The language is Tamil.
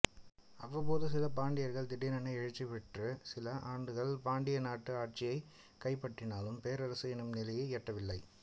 அவ்வப்போது சில பாண்டியர்கள் திடீரென எழுச்சியுற்று சில ஆண்டுகள் பாண்டிய நாட்டு ஆட்சியை கைப்பற்றினாலும் பேரரசு என்னும் நிலையை எட்டவில்லை